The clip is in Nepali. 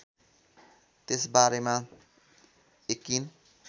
त्यसबारेमा यकिन